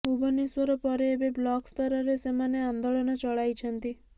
ଭୁବନେଶ୍ୱର ପରେ ଏବେ ବ୍ଲକ ସ୍ତରରେ ସେମାନେ ଆନ୍ଦୋଳନ ଚଳାଇଛନ୍ତି